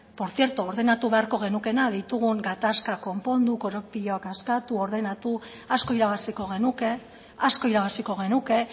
por cierto ordenatu beharko genukeena ditugun gatazkak konpondu korapiloak askatu ordenatu asko irabaziko genuke asko irabaziko genuke